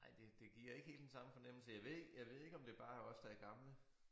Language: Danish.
Ej det det giver ikke helt den samme fornemmelse jeg ved ikke jeg ved ikke om det bare er os der er gamle